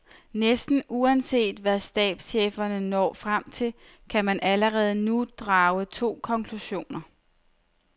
Næsten uanset hvad stabscheferne når frem til, kan man allerede nu drage to konklusioner.